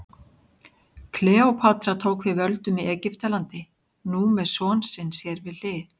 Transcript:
Kleópatra tók við völdum í Egyptalandi, nú með son sinn sér við hlið.